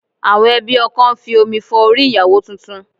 Àwọn ẹbí ọkọ ń fi omi fọ orí ìyàwó tuntun